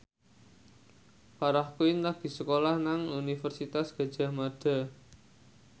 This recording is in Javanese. Farah Quinn lagi sekolah nang Universitas Gadjah Mada